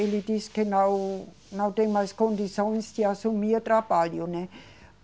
Ele disse que não, não tem mais condições de assumir trabalho, né?